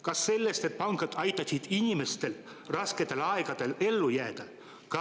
Kas sellest, et pangad aitasid inimestel rasketel aegadel ellu jääda?